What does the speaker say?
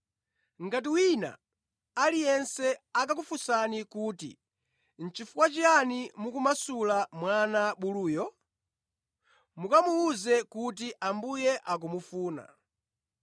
Ngati wina aliyense akakufunsani kuti, ‘Nʼchifukwa chiyani mukumumasula mwana buluyo?’ Mukamuwuze kuti, ‘Ambuye akumufuna.’ ”